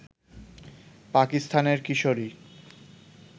পাকিস্তানের কিশোরী